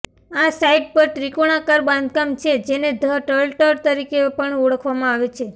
આ સાઇટ પર ત્રિકોણાકાર બાંધકામ છે જેને ધ ટર્ટલ તરીકે પણ ઓળખવામાં આવે છે